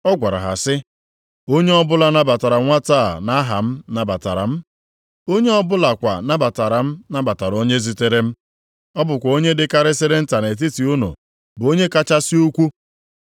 Ọ gwara ha sị, “Onye ọbụla nabatara nwata a nʼaha m, nabatara m. Onye ọ bụlakwa nabatara m, nabatara onye zitere m. Ọ bụkwa onye dịkarịsịrị nta nʼetiti unu bụ onye kachasị ukwuu.”